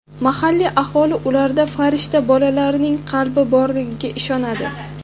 Mahalliy aholi ularda farishta bolalarining qalbi borligiga ishonadi.